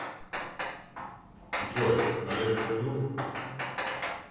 джой олег твой друг